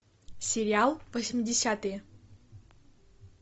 сериал восьмидесятые